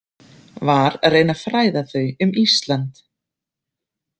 Var að reyna að fræða þau um Ísland.